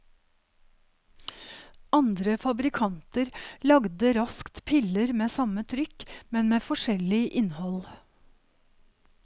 Andre fabrikanter lagde raskt piller med samme trykk, men med forskjellig innhold.